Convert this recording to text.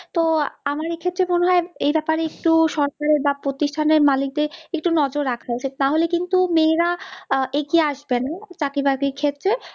তো আমার এ ক্ষেত্রে মনে হয় এই ব্যাপারে একটু সরকারের বা প্রতিস্থানের মালিক দরে একটু নজর রাখা উচিৎ, না হলে কিন্তু মেয়েরা এগিয়ে আসবে না চাকরি বাকরি র ক্ষেত্রে